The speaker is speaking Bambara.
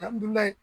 Alihamdulilayi